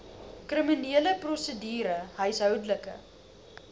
kriminele prosedure huishoudelike